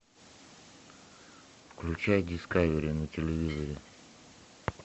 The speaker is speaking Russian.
включай дискавери на телевизоре